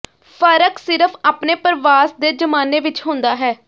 ਫ਼ਰਕ ਸਿਰਫ਼ ਆਪਣੇ ਪ੍ਰਵਾਸ ਦੇ ਜ਼ਮਾਨੇ ਵਿਚ ਹੁੰਦਾ ਹੈ